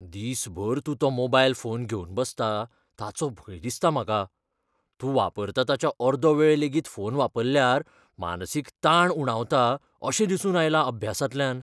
दिसभर तूं तो मोबायल फोन घेवन बसता ताचो भंय दिसता म्हाका. तूं वापरता ताच्या अर्दो वेळ लेगीत फोन वापरल्यार मानसीक तांक उणावता अशें दिसून आयलां अभ्यासांतल्यान.